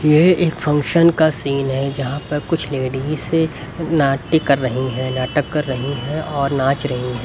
यह एक फंक्शन का सीन है यहां पर कुछ लेडिसे नाट्य कर रही हैं नाटक कर रही हैं और नाच रही हैं।